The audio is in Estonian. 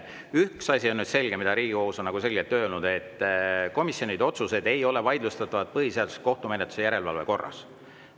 Üks asi on selge, Riigikohus on seda selgelt öelnud: komisjoni otsused ei ole vaidlustatavad põhiseaduslikkuse järelevalve kohtumenetluse korras.